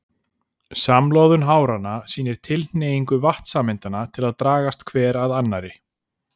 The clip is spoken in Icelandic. Samloðun háranna sýnir tilhneigingu vatnssameindanna til að dragast hver að annarri.